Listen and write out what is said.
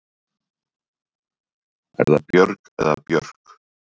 Er það Björg eða Björk?